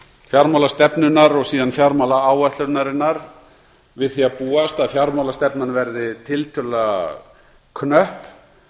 fjármálastefnunnar og síðan fjármálaáætlunarinnar við því að búast að fjármálastefnan verði tiltölulega knöpp